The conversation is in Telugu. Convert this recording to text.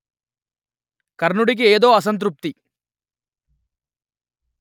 కర్ణుడికి ఏదో అసంతృప్తి